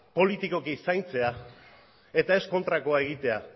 politikoki zaintzea eta ez kontrakoa egitea